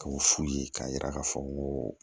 K'o f'u ye k'a yira k'a fɔ ko